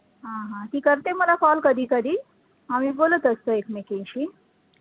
हा हा ती करते मला call कधी कधी, आम्ही बोलतं असतो ऐकमेकींशी